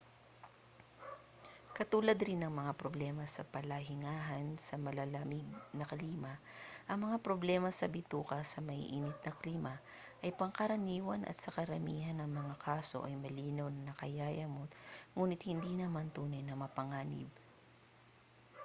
katulad rin ng mga problema sa palahingahan sa malalamig na klima ang mga problema sa bituka sa maiinit na klima ay pangkaraniwan at sa karamihan ng mga kaso ay malinaw na nakakayamot nguni't hindi naman tunay na mapanganib